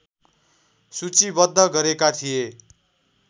सूचीबद्ध गरेका थिए